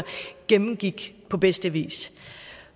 gennemgik på bedste vis